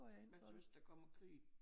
Hvad så hvis der kommer krig?